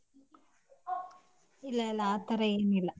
ಇಲ್ಲ ಇಲ್ಲ ಆತರ ಏನೋ ಇಲ್ಲ.